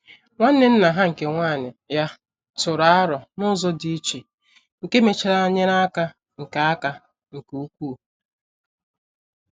Nwanne nna ha nke nwanyị ya tụrụ aro n'ụzọ dị iche, nke mechara nyere aka nke aka nke ukwuu.